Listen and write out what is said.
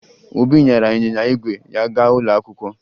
Obi nyara ịnyịnya ígwè ya gaa ụlọ akwụkwọ